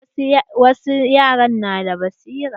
Wasu yaran na da basira.